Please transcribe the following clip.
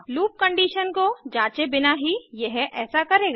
loop condition को जाँचे बिना ही यह ऐसा करेगा